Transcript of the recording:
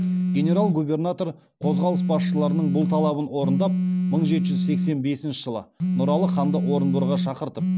генерал губернатор қозғалыс басшыларының бұл талабын орындап мың жеті жүз сексен бесінші жылы нұралы ханды орынборға шақыртып